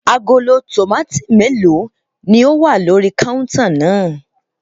Agolo tòmátì mélòó ni ó wà lórí kọ́úntà náà?